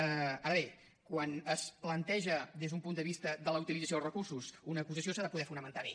ara bé quan es planteja des d’un punt de vista de la utilització dels recursos una acusació s’ha de poder fonamentar bé